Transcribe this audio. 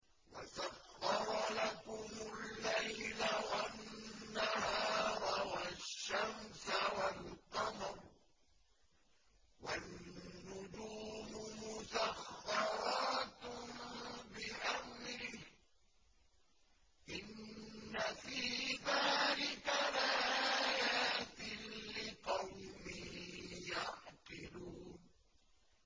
وَسَخَّرَ لَكُمُ اللَّيْلَ وَالنَّهَارَ وَالشَّمْسَ وَالْقَمَرَ ۖ وَالنُّجُومُ مُسَخَّرَاتٌ بِأَمْرِهِ ۗ إِنَّ فِي ذَٰلِكَ لَآيَاتٍ لِّقَوْمٍ يَعْقِلُونَ